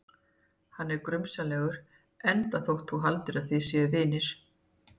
Hann er grunsamlegur, enda þótt þú haldir að þið séuð vinir.